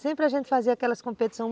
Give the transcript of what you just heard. Sempre a gente fazia aquelas competições.